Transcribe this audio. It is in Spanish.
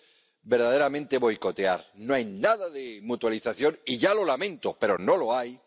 es verdaderamente boicotear. No hay nada de mutualización —y ya lo lamento, pero no lo hay—.